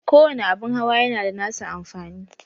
Kowani abun hawa yana da nasa amfani.